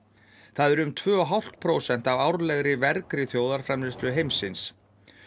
það eru um tvö og hálft prósent af árlegri vergri þjóðarframleiðslu heimsins